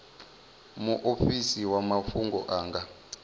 muofisi wa mafhungo a nga